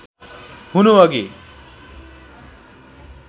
हुनु अघि